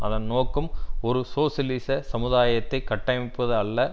அதன் நோக்கம் ஒரு சோசியலிச சமுதாயத்தை கட்டமைப்பது அல்ல